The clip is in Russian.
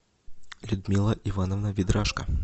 людмила ивановна ведрашко